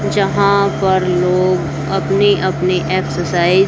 जहाँ पर लोग अपनी अपनी एक्सरसाइज --